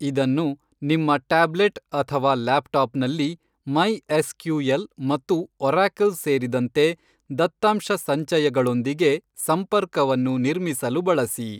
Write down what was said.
ಇದನ್ನು ನಿಮ್ಮ ಟ್ಯಾಬ್ಲೆಟ್ ಅಥವಾ ಲ್ಯಾಪ್ಟಾಪ್ನಲ್ಲಿ ಮೈ.ಎಸ್.ಕ್ಯೂ.ಎಲ್. ಮತ್ತು ಒರಾಕಲ್ ಸೇರಿದಂತೆ ದತ್ತಾಂಶಸಂಚಯಗಳೊಂದಿಗೆ ಸಂಪರ್ಕವನ್ನು ನಿರ್ಮಿಸಲು ಬಳಸಿ.